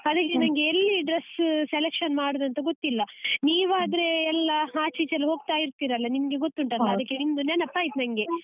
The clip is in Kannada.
ಅದಕ್ಕೆ ನಂಗೆ ಎಲ್ಲಿ dress selection ಮಾಡುದಂತ ಗೊತ್ತಿಲ್ಲ ನೀವ್ ಆದ್ರೆ ಎಲ್ಲ ಆಚ್ ಈಚೆ ಎಲ್ಲ ಹೋಗ್ತಾ ಇರ್ತಿರಲ್ಲ ನಿಮ್ಗೆ ಅದ್ಕೆ ನಿಮ್ದು ನೆನಪಾಯ್ತ್ ನಂಗೆ.